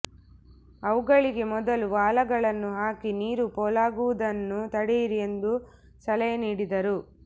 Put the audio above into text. ಅವುಗಳಿಗೆ ಮೊದಲು ವಾಲಗಳನ್ನು ಹಾಕಿ ನೀರು ಪೋಲಾಗುವದನ್ನು ತಡೆಯಿರಿ ಎಂದು ಸಲಹೆ ನೀಡಿದರು